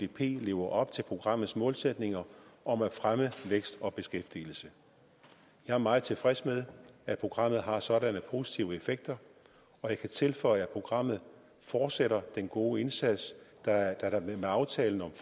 lever op til programmets målsætninger om at fremme vækst og beskæftigelse jeg er meget tilfreds med at programmet har sådanne positive effekter og jeg kan tilføje at programmet fortsætter den gode indsats da der med aftalen om